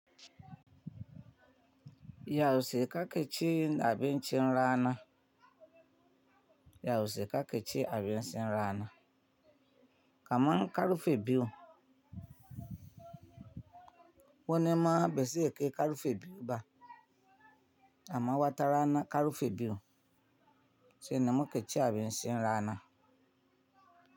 Ya wuce ka ƙe cin abincin rana. Ya wuce ka ƙe ce abin cin rana. Kaman karfe biyu. Wane ma ba ze kai karfe biyu ba, amma wata rana karfe biyu, shi ne mu ke cin abincin rana.